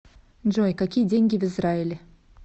джой какие деньги в израиле